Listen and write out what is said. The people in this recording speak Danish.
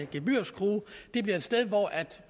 gebyrskrue det bliver et sted hvor